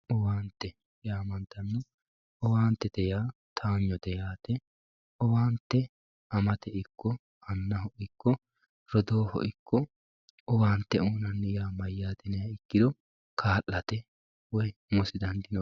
Owaante yaamantano, owaante yaa towaanyote yaate owaante amate ikko anna ikko rodooho ikko owaante uyinanni yaa mayyate yiniha ikkiro kaa'late woyi umosi dandaano.